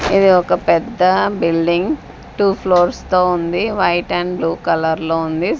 ఇది ఒక పెద్ద బిల్డింగ్ టు ఫ్లోర్స్ తో ఉంది వైట్ ఆండ్ బ్లూ కలర్లో ఉంది.